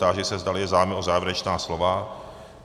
Táži se, zdali je zájem o závěrečná slova?